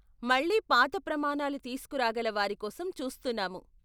మళ్ళీ పాత ప్రమాణాలు తీస్కురాగల వారి కోసం చూస్తున్నాము.